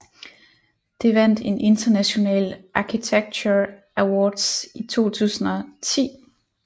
Det vandt en International Architecture Awards i 2010